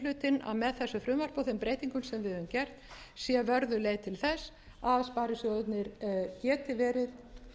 gert sé vörðuð leið til þess að sparisjóðirnir geti verið